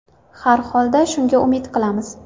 Har holda, shunga umid qilamiz.